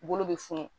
Bolo bɛ funu